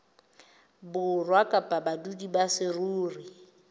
borwa kapa badudi ba saruri